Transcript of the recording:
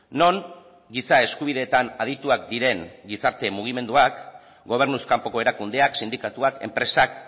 non giza eskubideetan adituak diren gizarte mugimenduak gobernuz kanpoko erakundeak sindikatuak enpresak